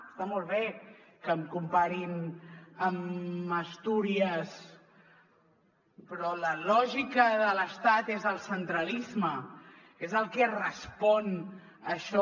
està molt bé que em comparin amb astúries però la lògica de l’estat és el centralisme és el que respon a això